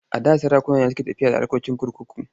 A da sarakuna ne suke tafiyar da harkokin kurkuku.